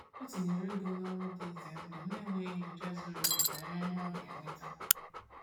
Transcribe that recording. O tinyere ego n’ọrụ dị ize ndụ n’enweghị nyocha zuru oke banyere ihe ọ ga-eweta.